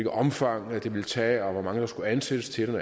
omfang det ville tage og hvor mange der skulle ansættes til